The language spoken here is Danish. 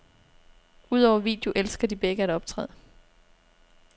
Udover video elsker de begge at optræde.